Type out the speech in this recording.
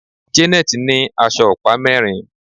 Janet ní aṣọ ọ̀pá mérin.